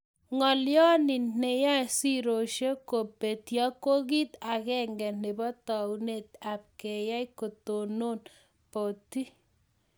Ngolyo ni neyae sirosek ko petyo ko kit agenge nebo taunet ab keyai kotonon boti